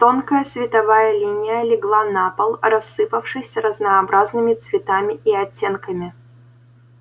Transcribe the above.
тонкая световая линия легла на пол рассыпавшись разнообразными цветами и оттенками